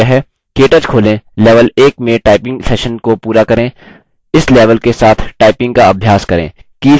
केटच खोलें level 1 में typing session को पूरा करें इस level के साथ typing का अभ्यास करें